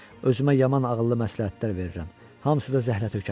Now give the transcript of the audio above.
Özümə yaman ağıllı məsləhətlər verirəm, hamısı da zəhlətökən.